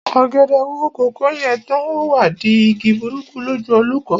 Ọ̀gẹ̀dẹ̀ wo kòkó yè tán, o wá di igi burúkú lójú olóko.